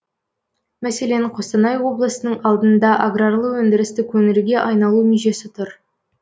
мәселен қостанай облысының алдында аграрлы өндірістік өңірге айналу межесі тұр